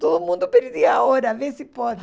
Todo mundo perdia a hora, vê se pode.